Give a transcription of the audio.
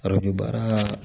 baara